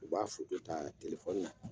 U b'a ta telefɔni na